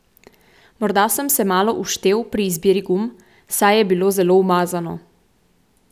Morda sem se malo uštel pri izbiri gum, saj je bilo zelo umazano.